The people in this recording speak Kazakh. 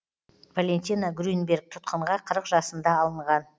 валентина грюнберг тұтқынға қырық жасында алынған